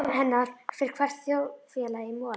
Án hennar fer hvert þjóðfélag í mola.